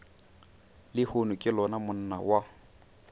lehono ke lona monna wa